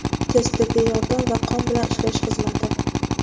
tez tibbiy yordam va qon bilan ishlash xizmati;.